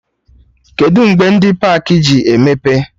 Kedụ mgbe ndị pakị ji emepe?